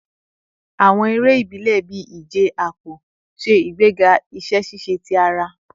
Awọn ere ibile bii ije apo ṣe igbega iṣẹ ṣiṣe ti ara